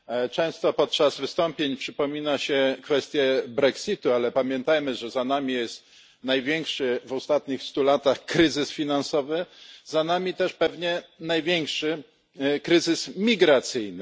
Często podczas wystąpień przypomina się kwestię brexitu, ale pamiętajmy, że za nami jest największy w ostatnich stu latach kryzys finansowy, za nami też pewnie największy kryzys migracyjny.